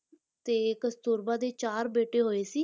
ਤੇ ਕਸਤੂਰਬਾ ਦੇ ਚਾਰ ਬੇਟੇ ਹੋਏ ਸੀ,